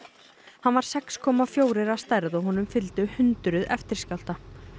hann var sex komma fjórir að stærð og honum fylgdu hundruð eftirskjálfta